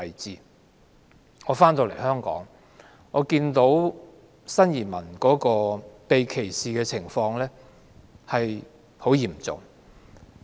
回到香港後，我看到新移民被歧視的情況十分嚴重。